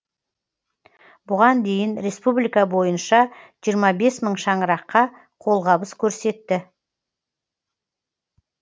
бұған дейін республика бойынша жиырма бес мың шаңыраққа қолғабыс көрсетті